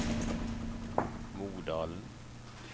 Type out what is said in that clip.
Modalen